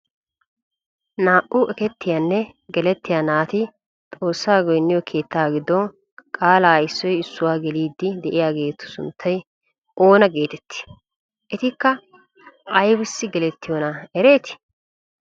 Naa"u ekettiyaanne gelettiyaa naati xoossaa goynniyo keettaa giddon qaalaa issoy issuwaawu geelidi de'iyaagetu sunttay oona getettii? Etika aybaassi gelettiyoonaa eretii?